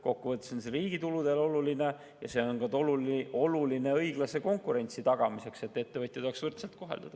Kokkuvõttes on see riigi tuludele oluline ja oluline ka õiglase konkurentsi tagamiseks, et ettevõtjad oleksid võrdselt koheldud.